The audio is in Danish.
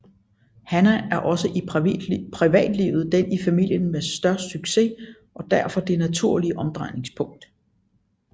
Hannah er også i privatlivet den i familien med størst succes og derfor det naturlige omdrejningspunkt